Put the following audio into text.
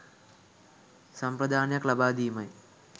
සම්ප්‍රදානයක් ලබා දීමයි.